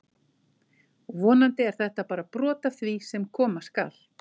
Vonandi er þetta bara brot af því sem koma skal!